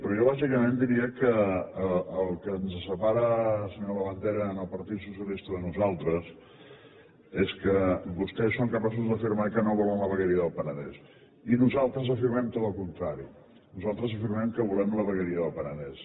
però jo bàsicament diria que el que ens separa senyor labandera el partit socialista de nosaltres és que vostès són capaços d’afirmar que no volen la vegueria del penedès i nosaltres afirmem tot el contrari nosaltres afirmem que volem la vegueria del penedès